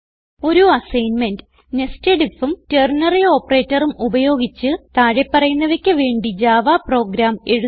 ഒരു assignment Nested Ifഉം ternary operatorഉം ഉപയോഗിച്ച് താഴെ പറയുന്നവയ്ക്ക് വേണ്ടി ജാവ പ്രോഗ്രാം എഴുതുക